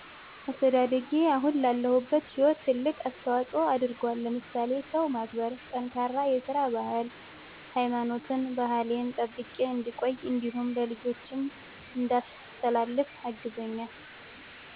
አስተዳደጌ አሁን ላለሁበት ህይወት ትልቅ አስተዋፆ አድርጎል ለምሳሌ ሰው ማክበር፣ ጠንካራ የስራ ባህል፣ ሀይማኖቴን ባህሌን ጠብቄ እንድቆይ እንዲሁም ለልጆቸም እንዳስተላልፍ አግዞኛል።